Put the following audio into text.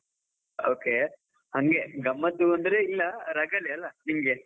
Okay ಹಂಗೆ ಗಮ್ಮತು ಅಂದ್ರೆ ಇಲ್ಲ ರಗಳೆ ಅಲಾ ನಿಮಗೆ.